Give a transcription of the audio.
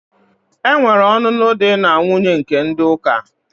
Enwere ọnụnụ di na nwuńye nke ndi uka.